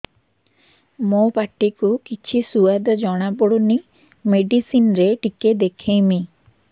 ମୋ ପାଟି କୁ କିଛି ସୁଆଦ ଜଣାପଡ଼ୁନି ମେଡିସିନ ରେ ଟିକେ ଦେଖେଇମି